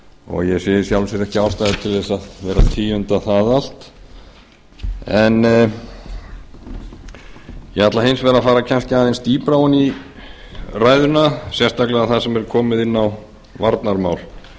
og ég sé í sjálfu sér ekki ástæðu til þess að vera að tíunda það allt ég ætla hins vegar að fara kannski aðeins dýpra ofan í ræðuna sérstaklega þar sem er komið inn á varnarmál